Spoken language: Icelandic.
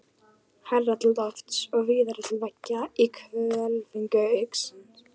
Hærra til lofts og víðara til veggja í hvelfingu hugans?